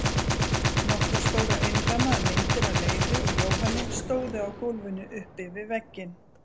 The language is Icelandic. Nokkrar stórar innrammaðar myndir af Leifi og Jóhanni stóðu á gólfinu uppi við vegginn.